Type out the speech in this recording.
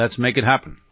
let's make it happen